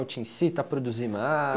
Te incita a produzir